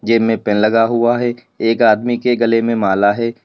इनमें पेन लगा हुआ है एक आदमी के गले में माला है।